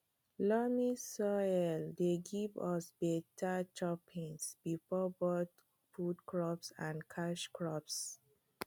loamy soil dey give us beta choppins for both food crops and cash crops